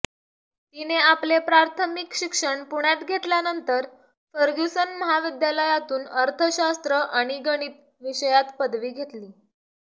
तिने आपले प्राथमिक शिक्षण पुण्यात घेतल्यानंतर फर्ग्युसन महाविद्यालयातून अर्थशास्त्र आणि गणित विषयात पदवी घेतली